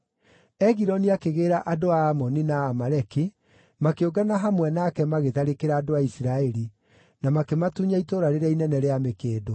Egiloni akĩgĩĩra andũ a Amoni na Amaleki, makĩũngana hamwe nake magĩtharĩkĩra andũ a Isiraeli, na makĩmatunya Itũũra rĩrĩa Inene rĩa Mĩkĩndũ.